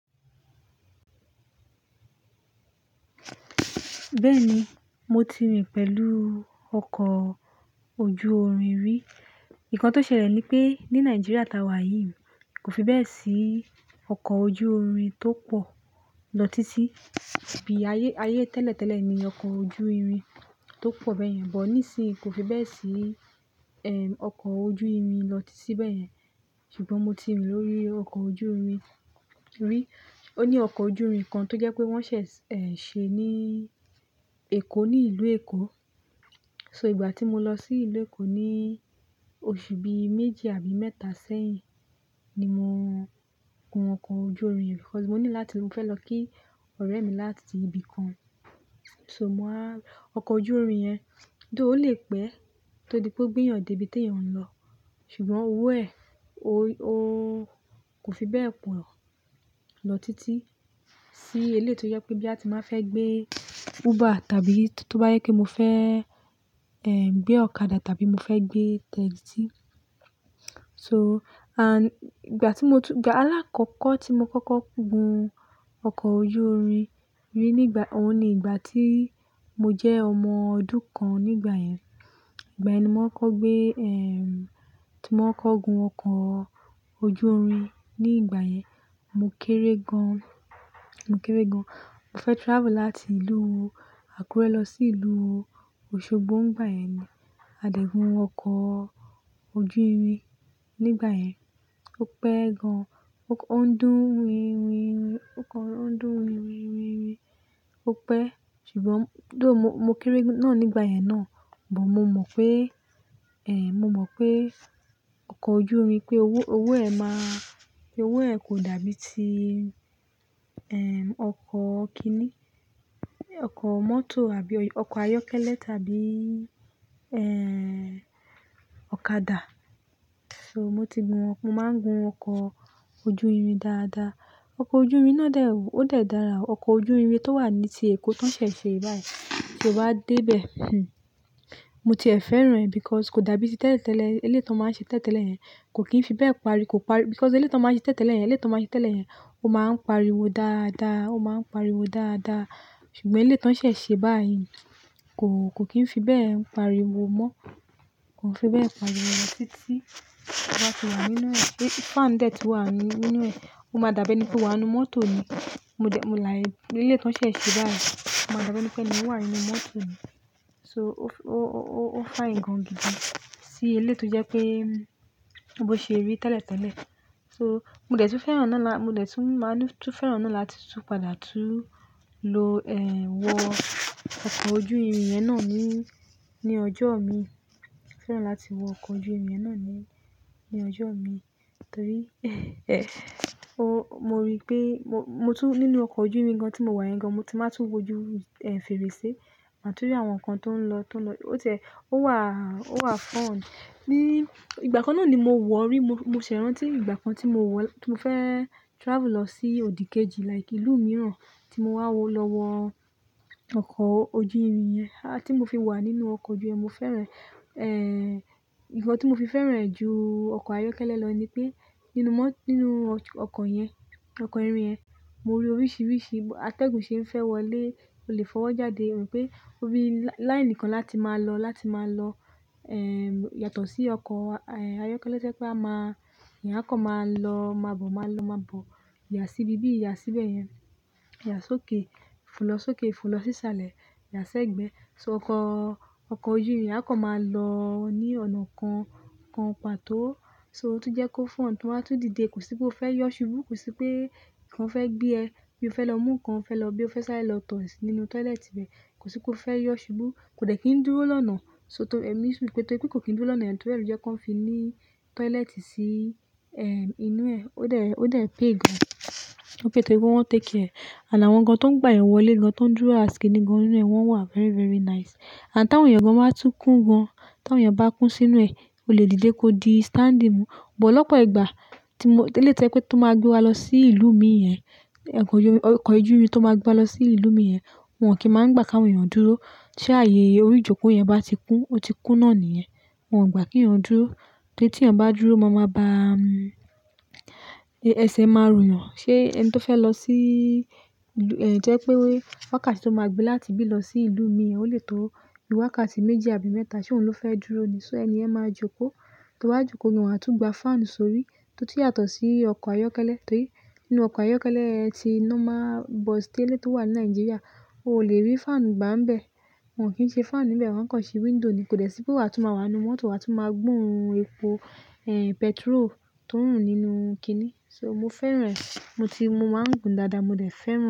Bẹ́ẹ̀ni, mo ti rìn pẹ̀lú ọkọ̀ ojú-orin rí. Ìkán tó ṣẹlẹ̀ ní pé ní Nàìjíríà tá wà yìí kò fi bẹ́ẹ̀ sí ọkọ̀ ojú-orin tó pọ̀ lọ títí. Bí ayé tẹ́lẹ̀ tẹ́lẹ̀ ni ọkọ̀ ojú-irin tó pọ̀ bẹ́yẹn, bọ̀ nísin kò fi bẹ́ẹ̀ sí ọkọ̀ ojú-irin lọ títí bẹ́yẹn. Ṣùgbọ́n mo ti rìn lórí ọkọ̀ ojú-orin rí. Ó ní ọkọ̀ ojú-irin kan tó jẹ́ pé wọ́n ṣẹ̀ ṣe ní Èkó, ní ìlú Èkó. So, ìgbà tí mo lọ sí ìlú Èkó ní oṣù bí méjì àbí mẹ́ta sẹ́yìn ni mo gun ọkọ̀ ojú-irin yẹn because mo ní láti, mo fẹ́ lọ kí ọ̀rẹ́ mi láti ibì kan. So, mo wá ọkọ̀ ojú-irin yẹn, though o lé pẹ́ ko tó di pé ó gbéyàn dé ibi tí èèyàn ń lọ. Ṣùgbọ́n owó ẹ̀, ó kò fi bẹ́ẹ̀ pọ̀ lọ títí sí eleyii tó jẹ́ pé boya ti mba fẹ́ gbé Uber tàbí tó bá yẹ pé mo fẹ́ gbé ọ̀kadà tàbí mo fẹ́ gbé taxi. So, ànd ìgbà tí mo tú-- ìgbà alákọkò tí mo kọ́kọ́ gun ọkọ̀ ojú-irin rí ní ìgbà, òun ni ìgbà tí mo jẹ́ ọmọ ọdún kan nígbà yẹn. Ìgbà yẹn ni mò kokọ́ gbé, eh, tí mò kokọ́ gun ọkọ̀ ojú-irin. Ní ìgbà yẹn, mo kéré gan. Mo kéré gan. Mo fẹ́ travel láti ìlú Àkúrẹ́ lọ sí ìlú Osogbo nígbà yẹn ni a dẹ̀ gun ọkọ̀ ojú-irin. Nígbà yẹn, ó pẹ́ gan, ó ń dún winwinwin, o kan lo ń dún winwinwinrin, ó pẹ́. Ṣùgbọ́n though mo kéré náà nígbà yẹn náà, but mo mọ̀ pé, eh, mo mọ̀ pé ọkọ̀ ojú-orin pé owó, owó ẹ̀ máa, pé owó ẹ̀ kò dàbí ti, eh, ọkọ̀ kíní, ọkọ̀ mọ́tò àbí ọkọ̀ ayọ́kẹ́lẹ́ tàbí, eh, ọ̀kadà. So, mo ti gun, mo máa ń gun ọkọ̀ ojú-irin dáadáa. Ọkọ̀ ojú-irin náà dè, ó dè dára. Ọkọ̀ ojú-irin tó wà ní ti Èkó tí wọ́n ṣẹ̀ ṣe báyìí, tí o bá dé bẹ́ẹ̀, mo tiẹ̀ fẹ́ràn rẹ̀ because kò dàbí ti tẹ́lẹ̀ tẹ́lẹ̀. Eleyii tó máa ń ṣe tẹ́lẹ̀ tẹ́lẹ̀ yẹn kò kín fi bẹ́ẹ̀ parí, kò parí because eleyii tó máa ń ṣe tẹ́lẹ̀ tẹ́lẹ̀ yẹn, eleyii tó máa ń ṣe tẹ́lẹ̀ yẹn ó máa ń pariwo dáadáa, ó máa ń pariwo dáadáa. Ṣùgbọ́n eleyii tón ṣẹ̀ ṣe báyìí kò, kò kín fi bẹ́ẹ̀ pariwo mọ́, kò fi bẹ́ẹ̀ pariwo lọ títí. Ọkọ̀ bá ti wà nínú ẹ̀, fan dé tí wà nínú ẹ̀, ó máa dàbí ẹni pé ó wà nínú mọ́tò ni. Mo dẹ̀, mo là è. Eleyii tón ṣẹ̀ ṣe báyìí o máa dàbí ẹni pé ẹni wà nínú mọ́tò ni. So, ó, ó, ó, ó fine gan gidi sí eleyii tó jẹ́ pé bí ó ṣe rí tẹ́lẹ̀ tẹ́lẹ̀. So, mo dẹ̀ tún fẹ́ràn nà la-- mo dẹ̀ tún máa tún fẹ́ràn nà láti tún padà tún lo, eh, wọ ọkọ̀ ojú-irin yẹn náà ní, ní ọjọ́ min. Fẹ́ràn láti wọ ọkọ̀ ojú-irin yẹn náà ní, ní ọjọ́ min torí, eh, mo rí pé mo, mo tún nínú ọkọ̀ ojú-irin gan tí mo wà yẹn gan mo ti máa tún wojú fèrèsé mà tun rí àwọn nǹkan tó ń lọ, tó ń lọ. Ó tie, ó wà, ó wà fún. Ní ìgbà kan náà ni mo wọ̀ rí. Mo ṣẹ̀ rántí ìgbà kan tí mo wọ, tí mo fẹ́ travel lọ sí òdìkejì like ìlú mìíràn tí mo wá lọ wọ ọkọ̀ ojú-irin yẹn. À ti mo fi wà nínú ọkọ̀ ojú-irin, mo fẹ́ràn e. Eh, ǹkan tí mo fi fẹ́ràn ẹ̀ ju ọkọ̀ ayọ́kẹ́lẹ́ lọ ni pé inú mọ́, nínú ọkọ̀ yẹn, ọkọ̀ ìrìn yẹn, mo rí oríṣiríṣi atẹ́gùn ṣe ń fẹ́ wọlé, o lè fọwọ́ jáde. Wù pé ó bí láínì kan láti máa lọ, láti máa lọ, eh, yàtọ̀ sí ọkọ̀ ayọ́kẹ́lẹ́ to jẹ́ pé a máa, eyán kọ̀ máa lọ má bọ̀, máa lọ má bọ̀. Ya sí ibi bí, ya síbẹ̀ yẹn, ya sókè, fo lọ sókè, fo lọ sísàlẹ̀, ya sẹ́gbẹ̀ẹ́. So ọkọ̀, ọkọ̀ ojú-irin yẹn a kan máa lọ ní ọ̀nà kan kan pàtó. So, ó tún jẹ́ kó fún to ba wá tún dìde. Kò sí pé o fẹ́ yọ̀ ṣubú, kò sí pé ǹkan fẹ́ gbé ẹ, bí o fẹ́ lọ mú ǹkan, ó fẹ́ lọ bí o fẹ́ sá lọ tọ̀ nínú tọ́ílẹ́ẹ̀tì bẹ́ẹ̀. Kò sí pé o fẹ́ yọ̀ ṣubú. Kò dẹ̀ kí n dúró lọ́nà. So, tọ, eh, mí sùn pé torí pé kò kí n dúró lọ́nà, torí ẹ́ lo jẹ́ kó fi ní tọ́ílẹ́ẹ̀tì sí, eh, inú ẹ̀. Ó dẹ̀, ó dẹ̀ pay gan. Ó pay torí pé wọ́n take care e. Ànd àwọn gan tó ń gba eyan wọlẹ́ gan, tó ń dúró as ki ni gan nínú ẹ̀ wọ́n wà very, very nice. Ànd táwọn èèyàn gan máa tún kún gan, táwọn èèyàn bá kún sínú ẹ̀, o lè dìde kó di standing. But lọ́pọ̀ ìgbà tí mo-- eleyi to yẹ́ pé tó máa gbé wa lọ sí ìlú mìí n yẹn, ọkọ̀ ojú-irin tó máa gbe wa lọ sí ìlú mìí n yẹn, wọn kì í máa ń gba kí àwọn èèyàn dúró. Ti ààyè orí ìjókòó yẹn bá ti kún, ó ti kún náà nìyẹn. Wọn ò gba kí èèyàn dúró. Torí tí èèyàn bá dúró, máa máa bá, ẹsẹ̀ máa rù yàn. Ṣé ẹni tó fẹ́ lọ sí, jẹ́ pé wákàtí tó máa gbé láti bí lọ sí ìlú mìí n yẹn, o lè tó wákàtí méjì àbí mẹ́ta ṣe òun ló fẹ́ dúró ni. So, ẹni yẹn máa jókòó. To bá jókòó ni wọ́n á tún gba fan sórí, tó tún yàtọ̀ sí ọkọ̀ ayọ́kẹ́lẹ́ torí nínú ọkọ̀ ayọ́kẹ́lẹ́ ẹ ti normal bus tẹ́lẹ̀yii tó wà ní Nàìjíríà, o ò lè rí fan gbà ń bẹ. Wọn kì í ṣe fan níbẹ̀, wọ́n kàn ṣe window ni. Kò dẹ̀ sí pé wà tún máa wà nínú mọ́tò wà tún máa gboún epo, eh, petról tó ń rùn nínú kíní. So, mo fẹ́ràn ẹ̀. Mo ti, mo máa ń gun dáadáa, mo dẹ̀ fẹ́ràn rẹ̀.